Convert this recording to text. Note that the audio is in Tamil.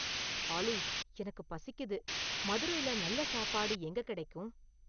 ஆலி எனக்குப் பசிக்கிது மதுரைல நல்ல சாப்பாடு எங்க கெடைக்கும்